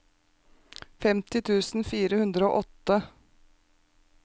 femti tusen fire hundre og åtte